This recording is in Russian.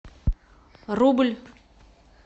рубль